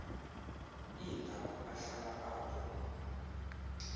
iindaba ahlala apho